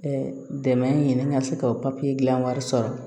dɛmɛ ɲini ka se ka o papiye gilan wari sɔrɔ